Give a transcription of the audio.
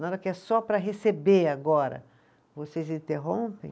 Na hora que é só para receber agora, vocês interrompem?